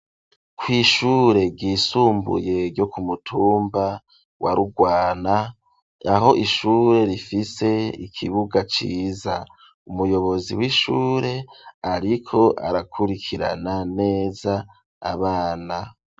Kw'ishure ryisumbuye ryo ku mutumba wa Rugwana, aho ishure rifise ikibuga ciza. Umuyobozi w'ishure ariko arakurikirana neza abana.